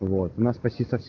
вот нас